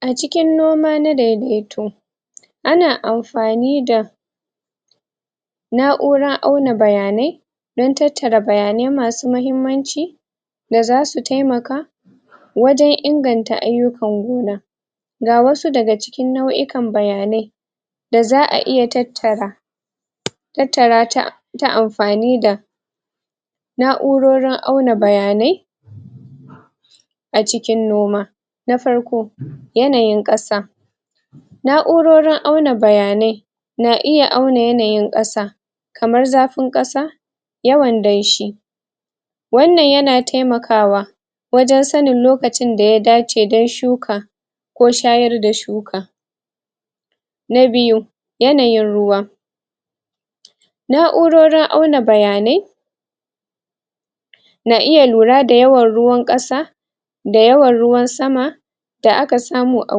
A cikin noma na daidaito a na amfani da naura auna bayane dan tattara bayane ma su mahimmanci da za su taimaka wajen inganta ayukan gona ga wasu da ga cikin nauyukan bayane da zaa iya tattara tattara ta ta amfani da naurorin auna bayane a cikin noma, na farko, yanayin kasa naurorin auna bayane na iya auna yanayin kasa kamar zafin kasa, yawan daishi wannan ya na taimakawa wajen sannin lokacin da ya dace dan shuka ko shayar da shuka na biyu, yanayin ruwa naurorin auna bayane na iya lura da yawan ruwan kasa da yawan ruwan sama da a ka samu a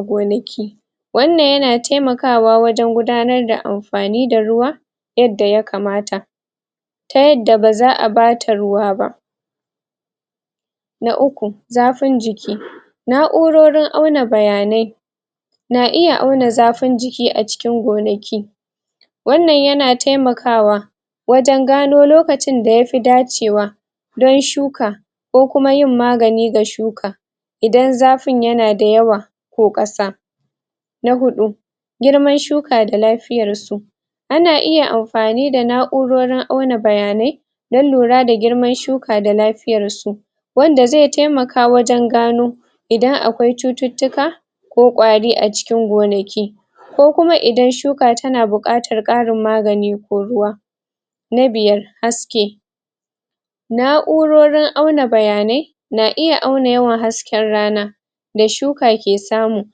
gonaki wannan ya na taimakawa wajen gudanar da amfani da ruwa yadda ya kamata ta yadda ba zaa ba ta ruwa ba na uku, zafun jiki naurorin auna bayane na iya auna zafin jiki a cikin gonaki wannan ya na taimakawa wajen gano lokacin da yafi dacewa don shuka ko kuma yin magani ga shuka idan zafin ya na da yawa ko kasa Na hudu girmar shuka da lafiyar su a na iya amfani da naurorin auna bayane na lura da girmar shuka da lafiyar su wanda zai taimaka wajen gano idan akwai cututuka ko kwari a cikin gonaki ko kuma idan shuka ta na bukatar ƙarin magani ko ruwa na biyar haske naurorin auna bayane na iya auna yawan hasken rana da shuka ke samu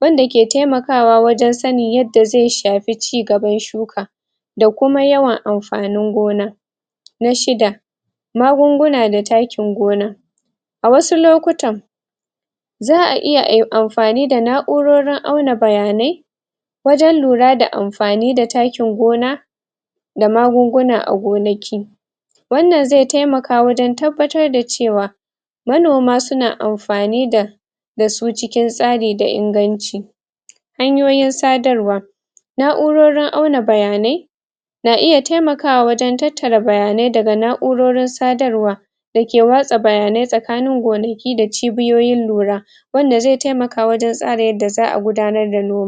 wanda ke taimakawa wajen sanni yadda zai shafi cigaban shuka da kuma yawan amfanin gona. Na shidda magunguna da takkin gona a wasu lokutan zaa iya ai a yi amfani da naurorin auna bayane wajen lura da amfani da takkin gona da magunguna a gonaki wannan zai taimaka wajen tabbatar da cewa manoma su na amfani da da su cikin tsari da inganci hanyoyin sadarwa, naurorin auna bayane na iya taimakawa wajen tattara bayane da ga naurorin sadarwa da ke wasa bayane tsakanin gonaki da cibiyoyin lura wanda zai taimaka wajen tsara yadda zaa gudanar da